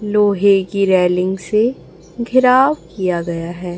लोहे की रेलिंग से घिराव किया गया है।